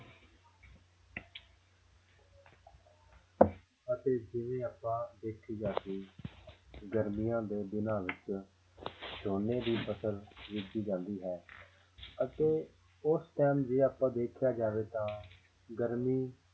ਅਤੇ ਜਿਵੇਂ ਆਪਾਂ ਦੇਖਿਆ ਜਾਵੇ ਕਿ ਗਰਮੀਆਂ ਦੇ ਦਿਨਾਂ ਵਿੱਚ ਝੋਨੇ ਦੀ ਫ਼ਸਲ ਕੀਤੀ ਜਾਂਦੀ ਹੈ ਅਤੇ ਉਸ time ਜੇ ਆਪਾਂ ਦੇਖਿਆ ਜਾਵੇ ਤਾਂ ਗਰਮੀ